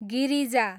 Girija